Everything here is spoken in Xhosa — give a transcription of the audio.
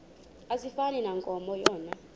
asifani nankomo yona